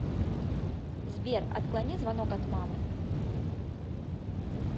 сбер отклони звонок от мамы